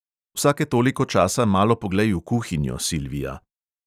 Vsake toliko časa malo poglej v kuhinjo, silvija.